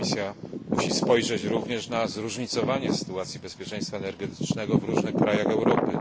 Komisja musi spojrzeć również na zróżnicowanie sytuacji bezpieczeństwa energetycznego w różnych krajach Europy.